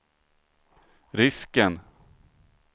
risken